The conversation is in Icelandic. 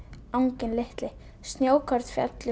anginn litli snjókorn féllu